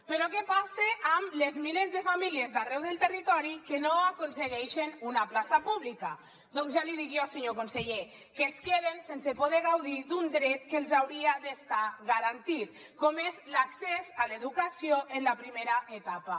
però què passa amb els milers de famílies d’arreu del territori que no aconsegueixen una plaça pública doncs ja l’hi dic jo senyor conseller que es queden sense poder gaudir d’un dret que els hauria d’estar garantit com és l’accés a l’educació en la primera etapa